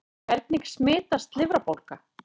Hvernig smitast lifrarbólga?